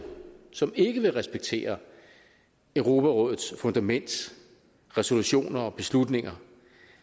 som ikke vil respektere europarådets fundament resolutioner og beslutninger